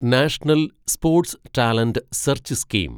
national sports talent search scheme